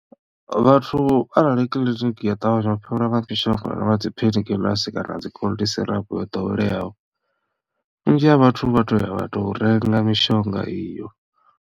Vhathu arali kiḽiniki ya ṱavhanya u fhelelwa nga mishonga nga dzi painkillers kana dzi cold syrup yo ḓoweleaho vhunzhi ha vhathu vha to ya vha tou renga mishonga iyo.